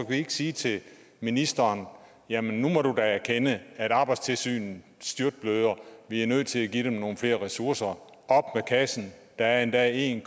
vi ikke sige til ministeren jamen nu må du da erkende at arbejdstilsynet styrtbløder og at vi er nødt til at give dem nogle flere ressourcer op med kassen der er endda en